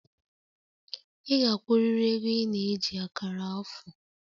Ị ga-akwụrịrị ego ị na-eji akara afọ!